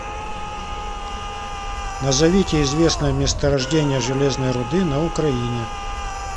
назовите известное месторождение железной руды на украине